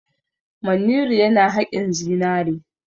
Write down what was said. Manniru yana haƙin zinare.